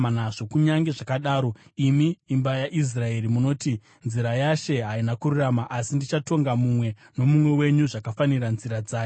Kunyange zvakadaro, imi imba yaIsraeri, munoti, ‘Nzira yaShe haina kururama.’ Asi ndichatonga mumwe nomumwe wenyu zvakafanira nzira dzake.”